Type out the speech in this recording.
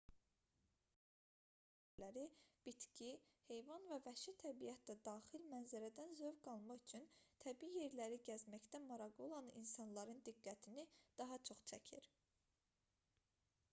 təbiətin qoyununda təşkil olunan turizm səfərləri bitki heyvan və vəhşi təbiət də daxil mənzərədən zövq qalma üçün təbii yerləri gəzməkdə maraqlı olan insanların diqqətini daha çox çəkir